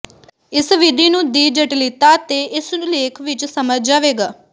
ਇਸ ਵਿਧੀ ਨੂੰ ਦੀ ਜਟਿਲਤਾ ਤੇ ਇਸ ਲੇਖ ਵਿਚ ਸਮਝ ਜਾਵੇਗਾ